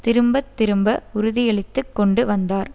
திரும்ப திரும்ப உறுதியளித்துக் கொண்டு வந்தார்